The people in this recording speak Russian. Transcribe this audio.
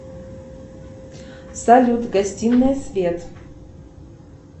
салют гостиная свет